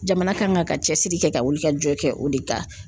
Jamana kan ka cɛsiri kɛ ka wuli ka jɔ kɛ o de kan.